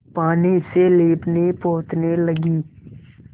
पानी से लीपनेपोतने लगी